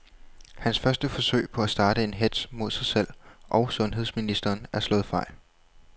Hans første forsøg på at starte en hetz mod sig selv og sundheds ministeren er slået fejl.